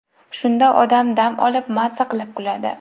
Shunda odam dam olib, maza qilib kuladi.